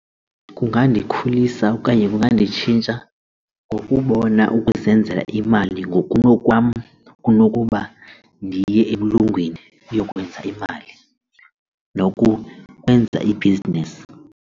Kungandikhulisa okanye kunganditshintsha ngokubona ukuzenzela imali ngokunokwam kunokuba ndiye umlungwini ndiyokwenza imali nokukwenza ibhizinesi.